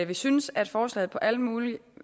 vi synes at forslaget på alle mulige